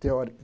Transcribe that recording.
teori